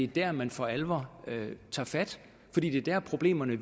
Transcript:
der man for alvor bør tage fat fordi det er der problemerne